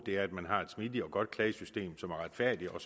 er at man har et smidigt og godt klagesystem som er retfærdigt og